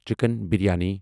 chicken biryani